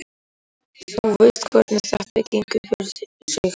Þú veist hvernig þetta gengur fyrir sig.